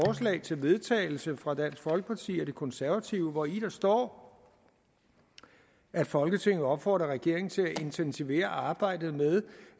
til vedtagelse fra dansk folkeparti og de konservative hvori der står at folketinget opfordrer regeringen til at intensivere arbejdet med